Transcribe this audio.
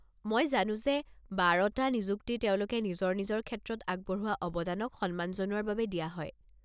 মই জানো যে এই বাৰটা নিযুক্তি তেওঁলোকে নিজৰ নিজৰ ক্ষেত্ৰত আগবঢ়োৱা অৱদানক সন্মান জনোৱাৰ বাবে দিয়া হয়।